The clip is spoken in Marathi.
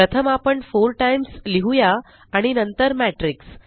प्रथम आपण 4 टाईम्स लिहुया आणि नंतर मॅट्रिक्स